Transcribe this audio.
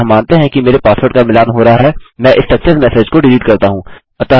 अतः मानते हैं कि मेरे पासवर्ड का मिलान हो रहा है मैं इस सक्सेस मेसेज को डिलीट करता हूँ